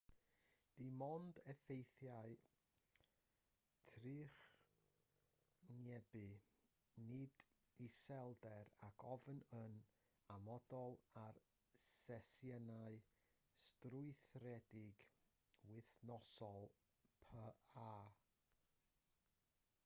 dim ond effeithiau trychinebu nid iselder ac ofn oedd yn amodol ar sesiynau strwythuredig wythnosol pa